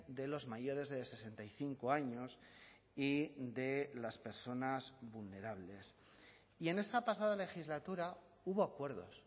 de los mayores de sesenta y cinco años y de las personas vulnerables y en esa pasada legislatura hubo acuerdos